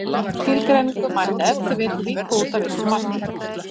þessa skilgreiningu mætti ef til vill víkka út að vissu marki